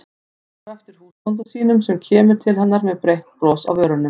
Horfir á eftir húsbónda sínum sem kemur til hennar með breitt bros á vörunum.